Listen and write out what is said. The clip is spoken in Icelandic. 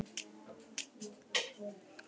Hún sá stytturnar þegar hún horfði í spegilinn.